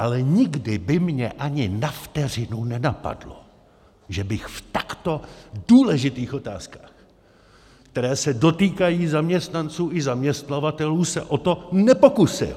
Ale nikdy by mě ani na vteřinu nenapadlo, že bych v takto důležitých otázkách, které se dotýkají zaměstnanců i zaměstnavatelů, se o to nepokusil.